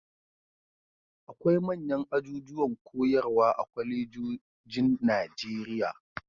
Akwai manyan ajujuwan koyarwa a kwalejojin Najeriya.